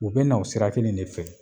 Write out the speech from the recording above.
U be na o sira kelen de fɛ